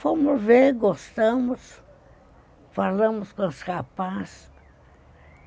Fomos ver, gostamos, falamos com os capazes.